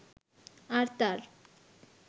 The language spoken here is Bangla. আর তার